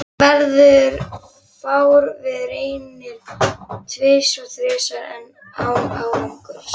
Hann verður fár við, reynir tvisvar-þrisvar enn, án árangurs.